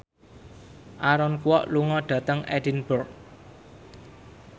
Aaron Kwok lunga dhateng Edinburgh